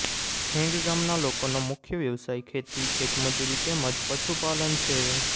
ખેંગ ગામના લોકોનો મુખ્ય વ્યવસાય ખેતી ખેતમજૂરી તેમ જ પશુપાલન છે